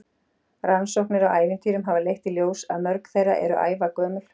Rannsóknir á ævintýrum hafa leitt í ljós að mörg þeirra eru ævagömul.